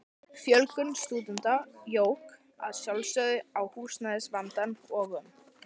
Fjölgun stúdenta jók að sjálfsögðu á húsnæðisvandann og um